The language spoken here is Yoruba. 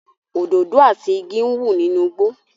Òdòdó àti igi ń wù nínú igbó